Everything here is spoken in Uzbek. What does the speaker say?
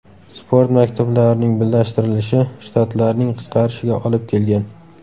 Sport maktablarining birlashtirilishi shtatlarning qisqarishiga olib kelgan.